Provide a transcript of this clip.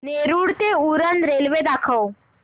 नेरूळ ते उरण रेल्वे दाखव